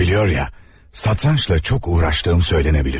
Tanrı biliyor ya, satrançla çox uğraşdığım söylənə bilər.